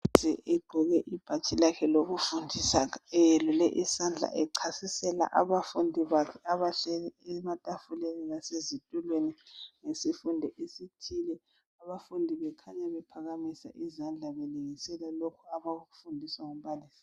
Egqoke ibhatshi lakhe lokufundisa Eyelule isandla echasisela abafundi bakhe abahleli ematafuleni lasezitulweni. Ngesifundo esithile. Abafundi bakhanya bephakamisa izandla bekhuluma, ngalokhu abakufundiswa ngumbalisi wabo.